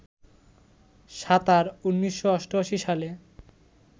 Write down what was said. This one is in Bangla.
সাঁতার, ১৯৮৮ সালে